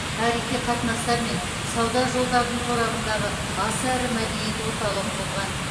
тарихи қатынастар мен сауда жолдарының торабындағы аса ірі мәдениет орталығы болған